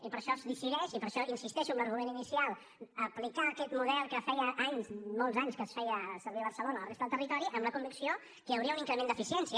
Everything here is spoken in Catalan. i per això es decideix i per això insisteixo en l’argument inicial d’aplicar aquest model que feia anys molts anys que es feia servir a barcelona a la resta del territori amb la convicció que hi hauria un increment d’eficiència